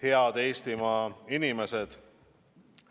Head Eestimaa inimesed!